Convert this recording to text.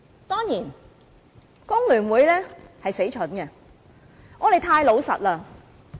當然，工聯會很蠢，我們太老實了。